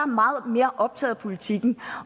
meget mere optaget af politikken